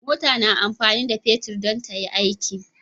mota na amfani da fetir dan tayi aiki